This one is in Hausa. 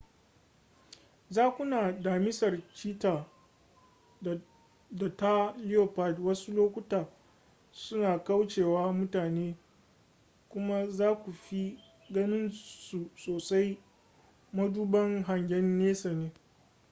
zakuna damisar cheetah da ta leopard wasu lokuta suna kaucewa mutane kuma za ku fi ganin su sosai maduban hangen nesa